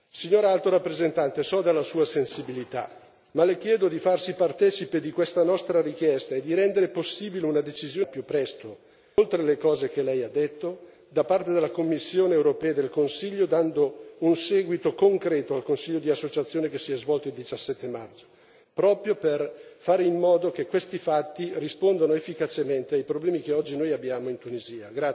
Signora Alto rappresentante, sono consapevole della sua sensibilità, ma le chiedo di farsi partecipe di questa nostra richiesta e di rendere possibile al più presto, oltre alle cose che lei ha detto, una decisione politica da parte della Commissione europea e del Consiglio dando un seguito concreto al Consiglio di associazione che si è svolto il 17 maggio, proprio per fare in modo che questi fatti rispondano efficacemente ai problemi che oggi abbiamo in Tunisia.